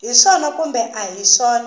hi swona kumbe a hi